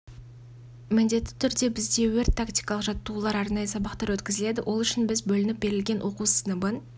міндетті түрде бізде өрт-тактикалық жаттығулар арнайы сабақтар өткізіледі ол үшін біз бөлініп берілген оқу сыныбын